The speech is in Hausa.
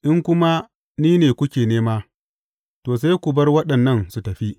In kuma ni ne kuke nema, to, sai ku bar waɗannan su tafi.